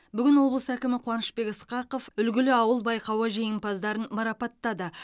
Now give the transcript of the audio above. бүгін облыс әкімі қуанышбек ысқақов үлгілі ауыл байқауы жеңімпаздарын марапаттады